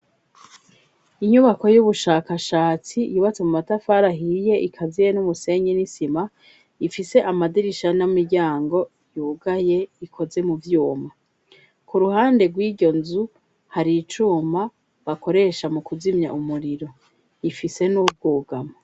Inyubako y'ubushakashatsi yubatse mu matafari ahiye ikaziye n'umusenyi n'isima, ifise amadirisha n'imiryango yugaye ikoze mu vyuma. Ku ruhande rw'iryo nzu, hari icuma bakoresha mu kuzimya umuriro. Ifise n'ubwugamo.